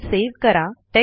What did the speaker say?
file save करा